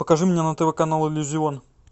покажи мне на тв канал иллюзион